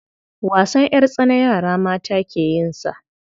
Wasan ƴartsana yara mata ke yin sa.